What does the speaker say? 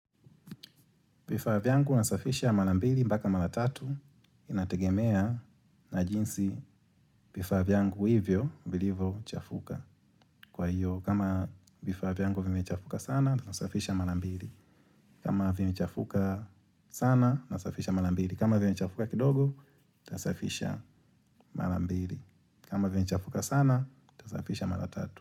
Vifaa vyangu nasafisha mara mbili mpaka mara tatu inategemea na jinsi vifaa vyangu hivyo, vilivyochafuka. Kwa hiyo, kama vifaa vyangu vimechafuka sana, nasafisha mara mbili. Kama vimechafuka sana, nasafisha malambili. Kama vimechafuka kidogo, nasafisha mara mbili. Kama vimechafuka sana, nasafisha mara tatu.